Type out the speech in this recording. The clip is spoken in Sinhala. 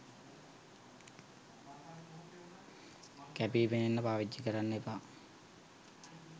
කැපී පෙනෙන්න පාවිච්චි කරන්න එපා.